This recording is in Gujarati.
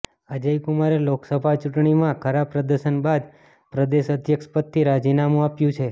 અજય કુમારે લોકસભા ચૂંટણીમાં ખરાબ પ્રદર્શન બાદ પ્રદેશ અધ્યક્ષ પદથી રાજીનામુ આપ્યું છે